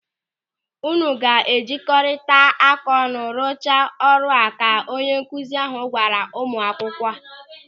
"Unu ga-ejkọrịrịaka ọnụ ruchaa ọrụ a" ka onye nkụzi ahụ gwara ụmụakwụkwọ.